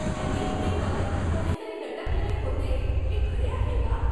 Hanging ट्रीवर कोणीतरी लटकलेले होते हे खरे आहे का?